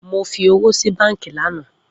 Mo fi owo si banki lana.